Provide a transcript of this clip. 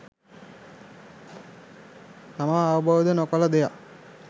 තමා අවබෝද නොකළ දෙයක්